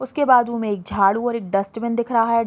उसके बाजु में एक झाड़ू और एक डस्टबिन दिख रहा है।